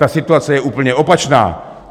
Ta situace je úplně opačná.